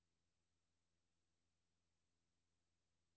Udskriv dokumentet til faxmodtager.